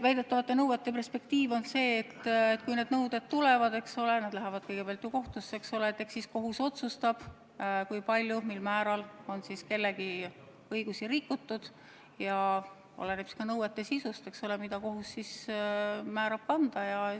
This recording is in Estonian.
Väidetavate nõuete perspektiiv on selline, et kui need nõuded tulevad, eks ole, siis need lähevad kõigepealt kohtusse ja eks kohus otsustab, kui palju on kellegi õigusi rikutud ja mis on nende nõuete sisu, mis kohus määrab riigile kanda.